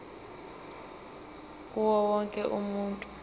kuwo wonke umuntu